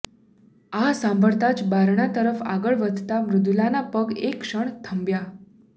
આ સાંભળતાં જ બારણા તરફ આગળ વધતા મૃદુલાના પગ એક ક્ષણ થંભ્યા